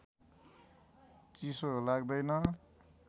चिसो लाग्दैन